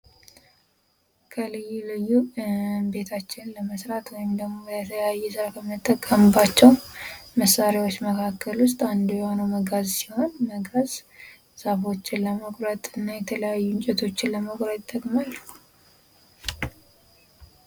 ከልዩ ልዩ ቤታችንን ለመስራት ወይም ደግሞ ከምንጠቀምባቸዉ መሳሪያዎች አንዱ የሆነዉ መጋዝ ሲሆን መጋዝ ዛፎቹን ለመቁረጥ እና የተለያዩ እንጨቶችን ለመቁረጥ ይጠቅማል።